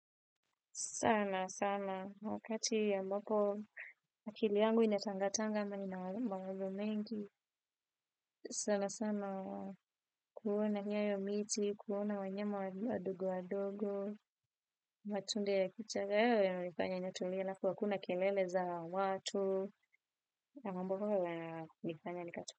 Sana, sana, wakati ambapo, akili yangu inatangatanga na ina mawazo mengi, sana, sana, kuona nyayo miti, kuona wanyqma wadogo wadogo, matunda ya kichaka, yanifanya nitulie alafu hakuwa kuna kelele za watu, ni mambo ambayo yananifanya nikato.